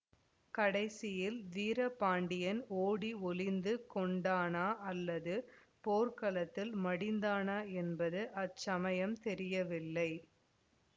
கடைசியில் வீரபாண்டியன் ஓடி ஒளிந்து கொண்டானா அல்லது போர்க்களத்தில் மடிந்தானா என்பது அச்சமயம் தெரியவில்லை